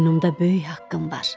yanımda böyük haqqım var.